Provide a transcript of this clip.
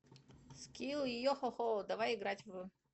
скилл йохохо давай играть в